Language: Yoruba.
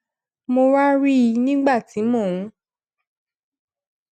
mo wá rí i nígbà tí mò ń